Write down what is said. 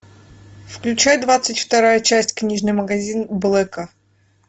включай двадцать вторая часть книжный магазин блэка